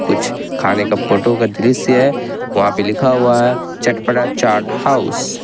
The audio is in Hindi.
कुछ खाने का फोटो का दृश्य है उस पर लिखा हुआ है चटपटा चाट हाउस ।